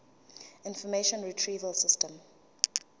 information retrieval system